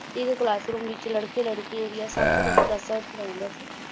ਇੱਕ class room ਵਿੱਚ ਲੜਕੇ ਲੜਕੀਆਂ ਦੀਆਂ ਸੱਤ ਪੜ੍ਹਾਉਂਦਾ ਸੀ